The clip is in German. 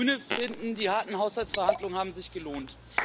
Wir Grüne finden, die harten Haushaltsverhandlungen haben sich gelohnt.